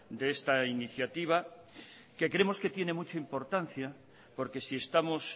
de esta iniciativa que creemos que tienen mucha importancia porque si estamos